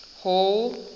hall